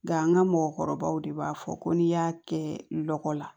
Nka an ka mɔgɔkɔrɔbaw de b'a fɔ ko n'i y'a kɛ lɔgɔ la